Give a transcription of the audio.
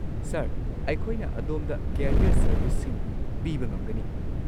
Sir, ꯑꯩꯈꯣꯏꯅ ꯑꯗꯣꯝꯗ career ꯁꯔꯕꯤꯁꯁꯤꯡ ꯄꯤꯕ ꯉꯝꯒꯅꯤ꯫